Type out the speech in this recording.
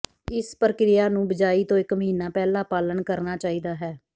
ਇਸ ਪ੍ਰਕਿਰਿਆ ਨੂੰ ਬਿਜਾਈ ਤੋਂ ਇਕ ਮਹੀਨਾ ਪਹਿਲਾਂ ਪਾਲਣ ਕਰਨਾ ਚਾਹੀਦਾ ਹੈ